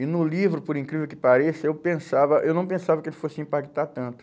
E no livro, por incrível que pareça, eu pensava, eu não pensava que ele fosse impactar tanto.